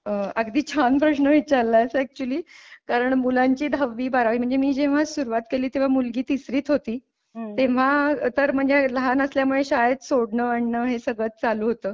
अह अगदी छान प्रश्न विचारलायस अॅक्चूअली कारण मुलांची दहावी बारावी म्हणजे मी जेव्हा सुरुवात केली तेव्हा मुलगी तिसरीत होती तेव्हा तर म्हणजे लहान असल्यामुळे शाळेत सोडणं आणण हे सगळंच चालू होतं.